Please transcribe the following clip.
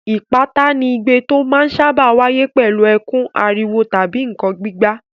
Ìpátá ni igbe tó máa ń sáábà wáyé pẹ̀lú ẹkún, ariwo tàbí nǹkan gbígbá.